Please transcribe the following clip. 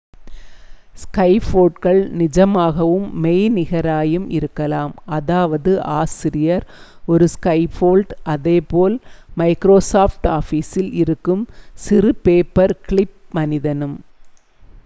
ஸ்கஃபோல்ட்கள் நிஜமாகவும் மெய்நிகராயும் இருக்கலாம் அதாவது ஆசிரியர் ஒரு ஸ்கஃபோல்ட் அதே போல் மைக்ரோ சாஃப்ட் ஆபீஸில் இருக்கும் சிறு பேப்பர் கிளிப் மனிதனும்